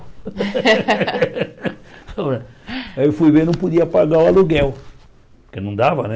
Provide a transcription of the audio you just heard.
Aí eu fui ver, não podia pagar o aluguel, porque não dava, né?